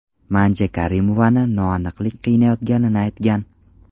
Manja Karimovani noaniqlik qiynayotganini aytgan.